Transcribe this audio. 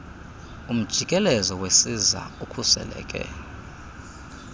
umjikelezo wesiza ukhuseleke